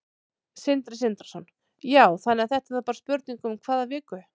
Sindri Sindrason: Já, þannig að þetta er bara spurning um hvað viku?